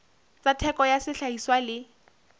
tsa theko ya sehlahiswa le